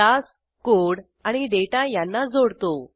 class code आणि data यांना जोडतो